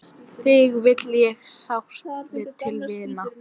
Þig vil ég sárt til vinna.